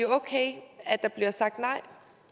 okay at der bliver sagt nej